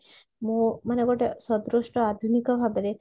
ମୁଁ ମାନେ ଗୋଟେ ସଦୃଷ୍ଟ ଆଧୁନିକ ଭାବରେ